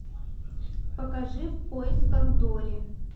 покажи в поисках дори